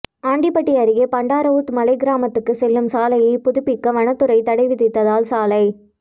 ஆண்டிபட்டி அருகே பண்டாரவூத்து மலை கிராமத்துக்குச் செல்லும் சாலையை புதுப்பிக்க வனத்துறை தடைவிதித்ததால் சாலை